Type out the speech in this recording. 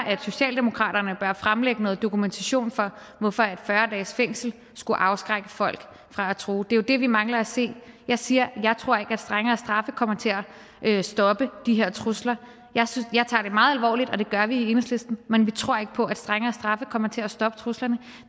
at socialdemokratiet bør fremlægge dokumentation for hvorfor fyrre dages fængsel skulle afskrække folk fra at true det er jo det vi mangler at se jeg siger at jeg ikke tror at strengere straffe kommer til at stoppe de her trusler jeg tager det meget alvorligt og det gør vi i enhedslisten men vi tror ikke på at strengere straffe kommer til at stoppe truslerne